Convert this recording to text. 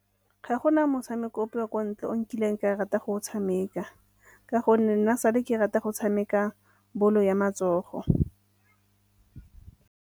Ga gona motshameko ope wa kwa ntle o nkileng ka rata go o tshameka ka gonne nna sale ke rata go tshameka bolo ya matsogo.